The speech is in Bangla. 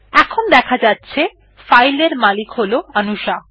এখন দেখা যাচ্ছে ফাইল এর মালিক হল অনুশা